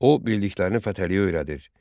O bildiklərini Fətəliyə öyrədir.